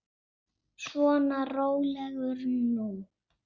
Svona, rólegur nú.